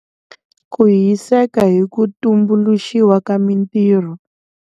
Ku hiseka hi ku tumbuluxiwa ka mitirho.